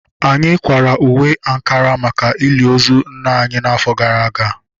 Anyị kwara uwe ankara maka ili ozu nna anyị afọ gara aga